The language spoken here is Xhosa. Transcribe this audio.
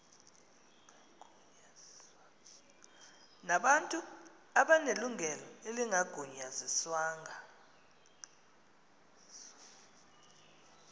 nabantu abanelungelo elingagunyaziswanga